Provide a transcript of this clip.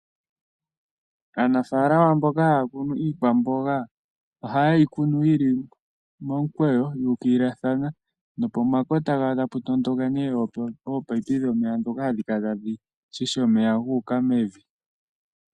Aanafaalama mboka haya kunu iikwamboga ohaye yi kunu yi li momukweyo yu ukililathana nopomakota gayo tapu tondoka nee opaipi dhomeya ndhoka hadhi kala tadhi shisha omeya gu uka mevi.